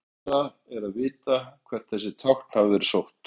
Erfiðara er að vita hvert þessi tákn hafa verið sótt.